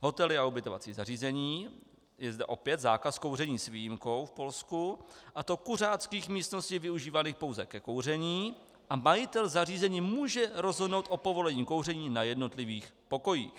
Hotely a ubytovací zařízení - je zde opět zákaz kouření s výjimkou v Polsku, a to kuřáckých místností využívaných pouze ke kouření, a majitel zařízení může rozhodnout o povolení kouření na jednotlivých pokojích.